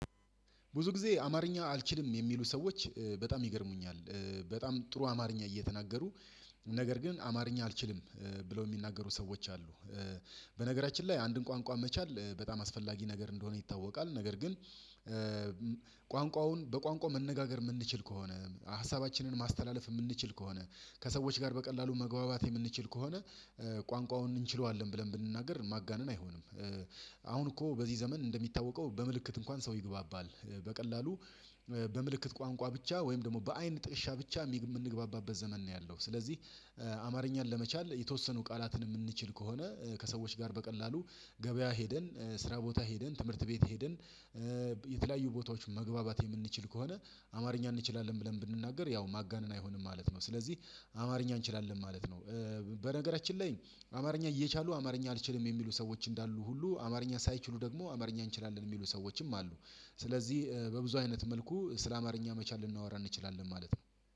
ብዙ ጊዜ አማርኛ አልችልም የሚሉ ሰዎች በጣም ይገርሙኛል በጣም ጥሩ አማርኛ እየተናገሩ ነገር ግን አማርኛ አልችልም ብለው የሚናገሩ ሰዎች አሉ። በነገራችን ላይ አንድን ቋንቋ መቻል በጣም አስፈላጊ ነገር እንደሆነ ይታወቃል። ነገር ግን ቋንቋውን በቋንቋው መነጋገር የምንችል ከሆነ ሀሳባችንን ማስተላለፍ የምንችል ከሆነ ከሰዎች ጋር በቀላሉ መግባባት የምንችል ከሆነ ቋንቋውን እንችለዋለን ብለን ብንናገር ማጋነን አይሆንም። አሁን እኮ በዚህ ዘመን እንደሚታወቀው በምልክት እንኳን ሰው ይግባባል። በቀላሉ በምልክት ቋንቋ ብቻ ወይም ደግሞ በአይን ጥቅሻ ብቻ የምንግባባበት ዘመን ነው ያለው። ስለዚህ አማርኛን ለመቻል የተወሰኑ ቃላትን የምንችል ከሆነ ከሰዎች ጋር በቀላሉ ገበያ ሄደን ስራ ቦታ ሄደን ትምህርት ቤት ሄደን የተለያዩ ቦታዎች መግባባት የምንችል ከሆነ አማርኛ እንችላለን ብለን ብንናገር ያው ማጋነን አይሆንም ማለት ነው። ስለዚህ አማርኛ እንችላለን ማለት ነው። በነገራችን ላይ አማርኛ እየቻሉ አማርኛ አልችልም የሚሉ ሰዎች እንዳሉ ሁሉ አማርኛ ሳይችሉ ደግሞ አማርኛ እንችላለን የሚሉ ሰዎችም አሉ። ስለዚህ በብዙ አይነት መልኩ ስለ አማርኛ መቻል ልናወራ እንችላለን ማለት ነው።